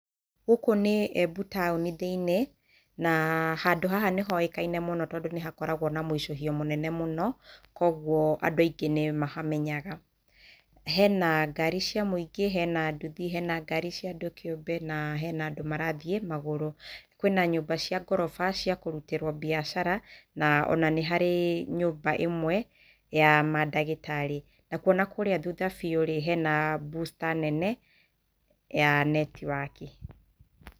Gũkũ nĩ Embu taũni thĩiniĩ na handũ haha nĩhoĩkaine mũno tondũ nĩhakoragwo na mũicũhio mũnene mũno kwoguo andũ aingĩ nĩmahamenyaga. Hena ngari cia mũingĩ, hena nduthi, hena ngari ciĩ andũ kĩũmbe na hena andũ marathiĩ magũrũ kwĩna nyũmba cia ngoroba cia kũrutĩrwo mbiacara na ona nĩ harĩ nyũmba ĩmwe ya madagĩtarĩ nakuo nakũrĩa thutha rĩ hena booster nene ya netiwaki.